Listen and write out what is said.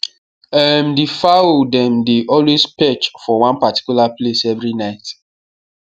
um the fowl dem dey always perch for one particular place every night